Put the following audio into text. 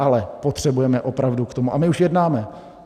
Ale potřebujeme opravdu k tomu - a my už jednáme.